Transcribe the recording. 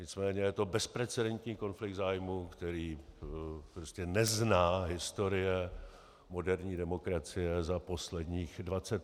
Nicméně je to bezprecedentní konflikt zájmů, který prostě nezná historie moderní demokracie za posledních 25 let.